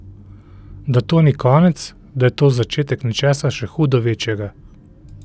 Da to ni konec, da je to začetek nečesa še hudo večjega.